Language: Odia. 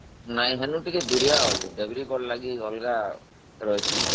ନା ଟିକେ ଦୁରିଆ ଅଛି, ଦେବ୍ରିଗଡ କୁ ଲାଗି ଅଲଗା ରହିଛି